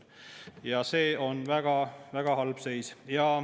Ja see on väga-väga halb seis.